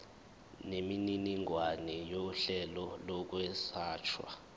nemininingwane yohlelo lokwelashwa